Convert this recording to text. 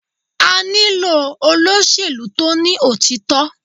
A nílò olóṣèlú tó ní òtítọ́.